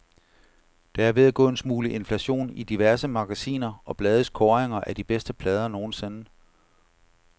Der er ved at gå en smule inflation i diverse magasiner og blades kåringer af de bedste plader nogensinde.